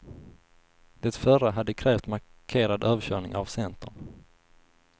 Det förra hade krävt markerad överkörning av centern.